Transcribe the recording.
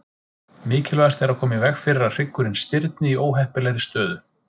Mikilvægast er að koma í veg fyrir að hryggurinn stirðni í óheppilegri stöðu.